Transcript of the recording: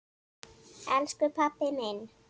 Elsku pabbi minn.